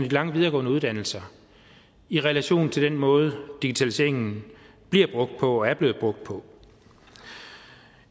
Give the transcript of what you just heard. lange videregående uddannelser i relation til den måde digitaliseringen bliver brugt på og er blevet brugt på